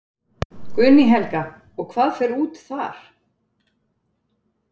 Guðný Helga: Og hvað fer út þar?